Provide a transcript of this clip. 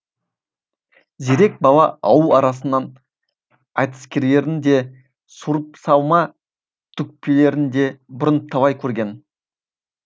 зерек бала ауыл арасының айтыскерлерін де суырыпсалма төкпелерін де бұрын талай көрген